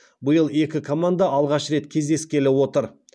биыл екі команда алғаш рет кездескелі отыр